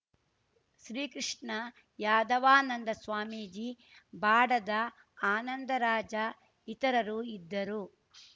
ಶ್ರೀ ಕೃಷ್ಣ ಯಾದವಾನಂದ ಸ್ವಾಮೀಜಿ ಬಾಡದ ಆನಂದರಾಜ ಇತರರು ಇದ್ದರು